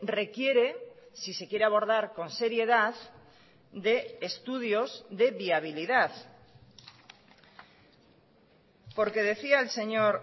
requiere si se quiere abordar con seriedad de estudios de viabilidad porque decía el señor